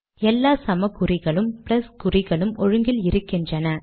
எல்லா சமக் குறிகளும் ப்ளஸ் குறிகளும் ஒழுங்கில் இருக்கின்றன